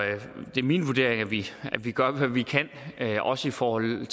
det er min vurdering at vi gør hvad vi kan også i forhold